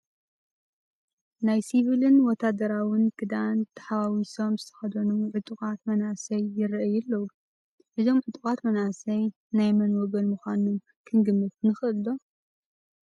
ናይ ሲቪልን ወታደራዉን ክዳን ሓዋዊሶም ዝተኸደኑ ዕጡቓት መናእሰይ ይርአዩ ኣለዉ፡፡ እዞም ዕጡቓት መናእሰይ ናይ መን ወገን ምዃኖም ክንግምት ንኽእል ዶ?